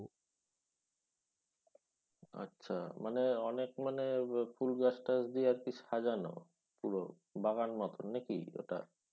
আচ্ছা মানে অনেক মানে আহ ফুল গাছ টাছ দিয়ে আরকি সাজানো পুরো বাগান মতন নাকি? ওটা